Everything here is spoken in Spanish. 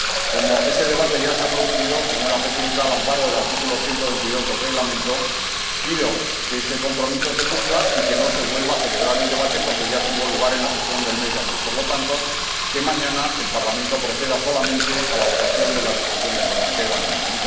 Como ese debate ya se ha producido, señora Presidenta, al amparo del artículo 122 del Reglamento, pido que ese compromiso se cumpla y que no se vuelva a celebrar el debate, porque ya tuvo lugar en la sesión del mes de abril, y, por lo tanto, que mañana el Parlamento proceda solamente a la votación de la Resolución sobre Guantánamo.